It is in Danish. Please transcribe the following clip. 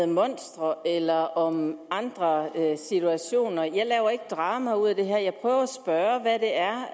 monstre eller om andre situationer jeg laver ikke drama ud af det her jeg prøver